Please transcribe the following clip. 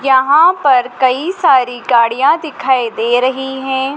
यहां पर कई सारी गाड़ियां दिखाई दे रही हैं।